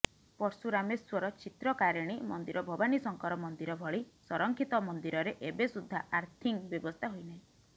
ପର୍ଶୁରାମେଶ୍ୱର ଚିତ୍ରକାରିଣୀ ମନ୍ଦିର ଭବାନୀ ଶଙ୍କର ମନ୍ଦିର ଭଳି ସଂରକ୍ଷିତ ମନ୍ଦିରରେ ଏବେ ସୁଦ୍ଧା ଆର୍ଥିଂ ବ୍ୟବସ୍ଥା ହୋଇନାହିଁ